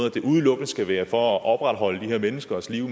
at det udelukkende skal være for at opretholde de her menneskers liv